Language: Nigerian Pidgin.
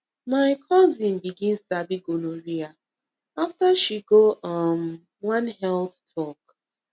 my cousin begin sabi gonorrhea after she go um one health talk